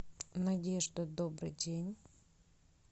надежда добрый день